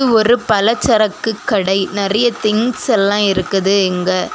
ஒரு பலச்சரக்கு கடை நெறைய திங்ஸ் எல்லா இருக்குது இங்க.